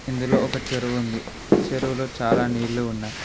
ఇందులో ఒక చెరువు ఉంది చెరువులో చాలా నీళ్లు ఉన్నాయ్.